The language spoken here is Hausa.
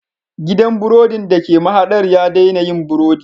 Gidan burodin da ke mahadar ya daina yin burodi